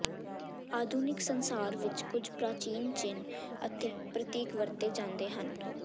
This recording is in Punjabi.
ਆਧੁਨਿਕ ਸੰਸਾਰ ਵਿੱਚ ਕੁਝ ਪ੍ਰਾਚੀਨ ਚਿੰਨ੍ਹ ਅਤੇ ਪ੍ਰਤੀਕ ਵਰਤੇ ਜਾਂਦੇ ਹਨ